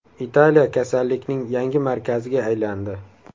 Italiya kasallikning yangi markaziga aylandi.